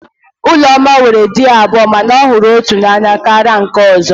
Ụlọma nwere di abụọ mana ọ hụrụ otu n'anya karịa nke ọ̀zọ́.